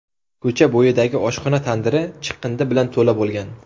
Ko‘cha bo‘yidagi oshxona tandiri chiqindi bilan to‘la bo‘lgan.